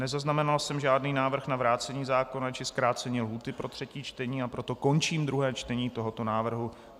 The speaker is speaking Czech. Nezaznamenal jsem žádný návrh na vrácení zákona či zkrácení lhůty pro třetí čtení, a proto končím druhé čtení tohoto návrhu.